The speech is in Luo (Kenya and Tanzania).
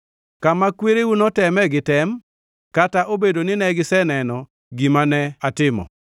kama kwereu noteme gi tem, kata obedo ni ne giseneno gima ne atimo.